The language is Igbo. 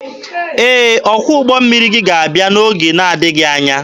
Ee, ọkwọ ụgbọ mmiri gị ga-abịa n'oge na-adịghị anya.